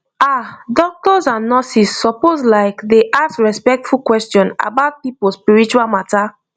ah doctors and nurses suppose like dey ask respectful question about people spiritual matter